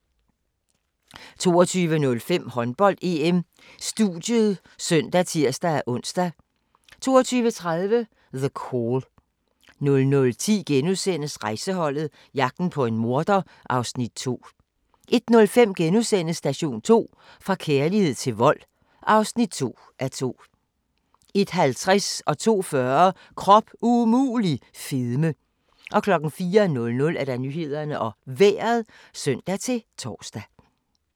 22:05: Håndbold: EM - studiet (søn og tir-ons) 22:30: The Call 00:10: Rejseholdet – jagten på en morder (Afs. 2)* 01:05: Station 2: Fra kærlighed til vold (2:2)* 01:50: Krop umulig - fedme 02:40: Krop umulig - fedme 04:00: Nyhederne og Vejret (søn-tor)